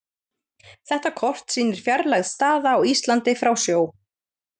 Þetta kort sýnir fjarlægð staða á Íslandi frá sjó.